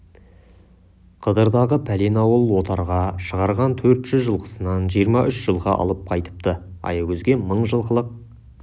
қыдырдағы пәлен ауыл отарға шығарған төрт жүз жылқысынан жиырма үш жылқы алып қайтыпты аягөзге мың жылқылық